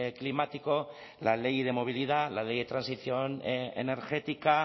climático la ley de movilidad la ley de transición energética